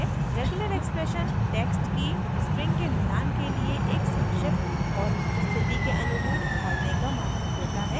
regular expression text की strings के मिलान के लिए एक संक्षिप्त और स्थिति के अनुरूप ढालने का माध्यम देता है